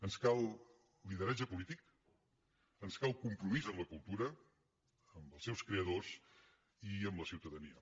ens cal lideratge polític ens cal compromís amb la cultura amb els seus creadors i amb la ciutadania